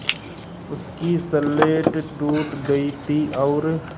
उसकी स्लेट टूट गई थी और